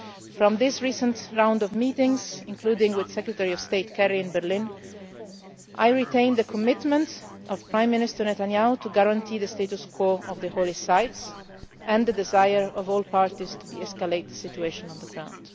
From this recent round of meetings, including with Secretary of State Kerry in Berlin, I retain the commitment of Prime Minister Netanyahu to guarantee the status quo in the holy sites and the desire of all parties to de escalate the situation on the ground.